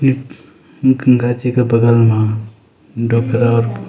ये गंगा जी का बगल मा ।